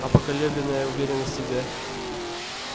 а поколебленная уверенность в себе